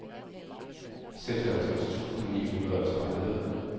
seksoghalvtreds tusind ni hundrede og tredive